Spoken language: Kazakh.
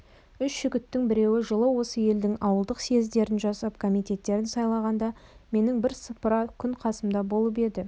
үш жігіттің біреуі жылы осы елдің ауылдық съездерін жасап комитеттерін сайлағанда менің бірсыпыра күн қасымда болып еді